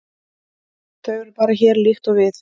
Þau eru bara hér, líkt og við.